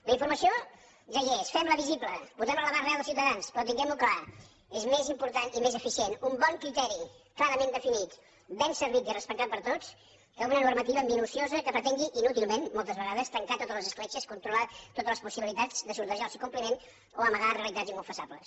la informació ja hi és fem la visible posem la a l’abast reals dels ciutadans però tinguem ho clar és més important i més eficient un bon criteri clarament definit ben servit i respectat per tots que una normativa minuciosa que pretengui inútilment moltes vegades tancar totes les escletxes controlar totes les possibilitats de sortejar el seu compliment o amagar realitats inconfessables